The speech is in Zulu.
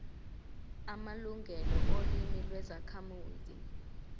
amalungelo olimi lwezakhamuzi